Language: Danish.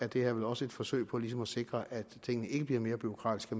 det er vel også et forsøg på ligesom at sikre at tingene ikke bliver mere bureaukratiske